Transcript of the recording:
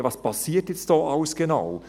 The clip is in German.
«Ja, was passiert jetzt da alles genau?